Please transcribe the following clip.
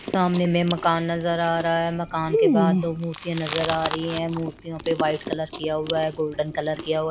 सामने मे मकान नजर आ रहा है मकान के बाद दो मूर्तिया नजर आ रही है मूर्तियों पे व्हाइट कलर किया हुआ है गोल्डन कलर किया है ।